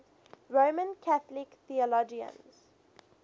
roman catholic theologians